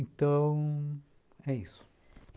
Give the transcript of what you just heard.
Então, é isso.